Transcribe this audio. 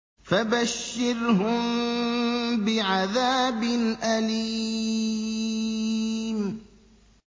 فَبَشِّرْهُم بِعَذَابٍ أَلِيمٍ